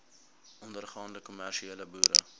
ondergaande kommersiële boere